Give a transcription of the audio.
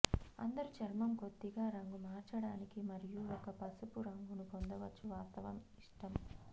అందరు చర్మం కొద్దిగా రంగు మార్చడానికి మరియు ఒక పసుపు రంగును పొందవచ్చు వాస్తవం ఇష్టం